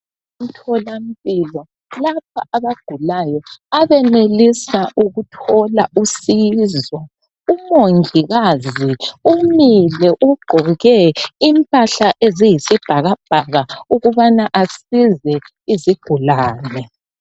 Emtholampilo lapha abagulayo abenelisa ukuthola usizo. Umongikazi umile ugqoke impahla eziyisibhakabhaka ukubana asize izigulane.